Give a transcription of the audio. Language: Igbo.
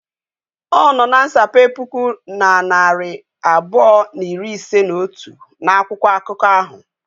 Ọnọ na nsape puku na narị abụọ na iri ise na otu n'akwụkwọ akụkọ ahụ.